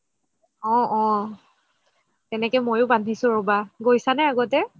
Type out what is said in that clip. অহ অহ তেনেকে মইও বান্ধিছো ৰবা গৈছা নে আগতে